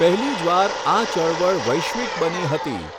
પહેલી જ વાર આ ચળવળ વૈશ્વિક બની હતી.